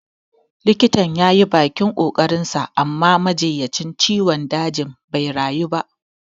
Likitan yayi bakin ƙoƙarin sa amma majinyacin ciwon dajin bai rayu ba